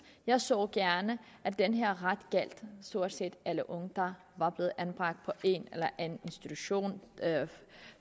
jeg så gerne at den her ret gjaldt stort set alle unge der var blevet anbragt på en eller anden institution